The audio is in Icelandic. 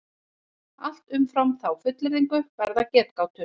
Allt umfram þá fullyrðingu verða getgátur.